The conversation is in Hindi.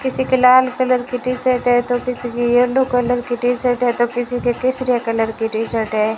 किसी की लाल कलर की टी-शर्ट है तो किसी की येलो कलर की टी-शर्ट है तो किसी की केसरिया कलर की टी-शर्ट है।